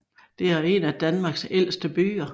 Det er en af Danmarks ældste byer